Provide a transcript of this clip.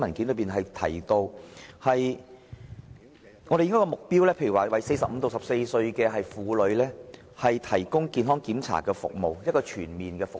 舉例而言，我們的目標，是向45歲至64歲這個年齡層的婦女，提供全面的健康檢查服務。